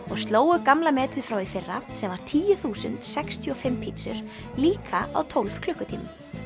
og slógu gamla metið frá því í fyrra sem var tíu þúsund sextíu og fimm pítsur líka á tólf klukkutímum